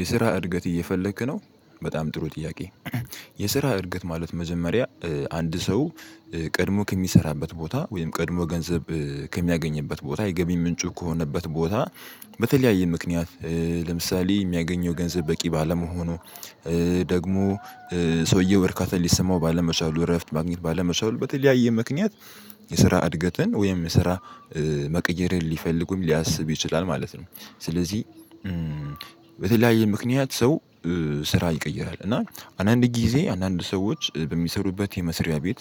የስራ እድገት እየፈለክ ነው በጣም ጥሩ ጥያቄ። የስራ እድገት ማለት መጀመሪያ አንድ ሰው ቀድሞ ከሚሰራበት ቦታ ወይም ቀድሞ ገንዘብ ከሚያገኝበት ቦታ የገቢ ምንጩ ከሆነበት ቦታ። በተለያየ ምክንያት ለምሳሌ የሚያገኘው ገንዘብ በቂ ባለመሆኑ። ደግሞ ሰውዬው እርካታ ሊሰማው ባለመቻሉ እረፍት ማግኘት ባለመቻሉ በተለያየ ምክንያት። የስራ እድገትን ወይም ስራ መቀየርን ሊፈልጉም ሊያስብ ይችላል ማለት ነው። ስለዚህ በተለያየ ምክንያት ሰው ስራ ይቀየራል እና አንዳንድ ጊዜ አንዳንድ ሰዎች በሚሰሩበት የመስሪያ ቤት።